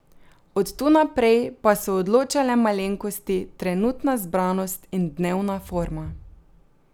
Od tu naprej pa so odločale malenkosti, trenutna zbranost in dnevna forma.